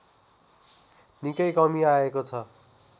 निकै कमी आएको छ